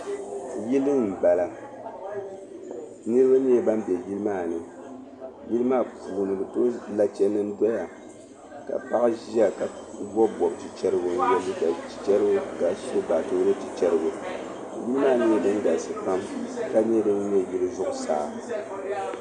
Yili n bala, niribi nyɛla ban be yili maani. yili maa puuni lache nim n doya ka paɣa ʒiya ka ye liiga chi chariga. kaso baatɔɔrɔ chi chariga. yili maa nyɛla din galisi pam ka nyɛ yili zuɣu saa